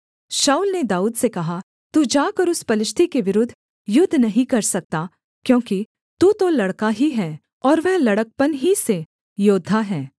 शाऊल ने दाऊद से कहा तू जाकर उस पलिश्ती के विरुद्ध युद्ध नहीं कर सकता क्योंकि तू तो लड़का ही है और वह लड़कपन ही से योद्धा है